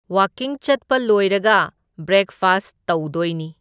ꯋꯥꯛꯀꯤꯡ ꯆꯠꯄ ꯂꯣꯏꯔꯒ ꯕ꯭ꯔꯦꯛꯐꯥꯁ ꯇꯧꯗꯣꯏꯅꯤ꯫